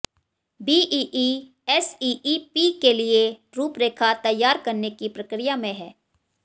BEE SEEP के लिये रूपरेखा तैयार करने की प्रक्रिया में है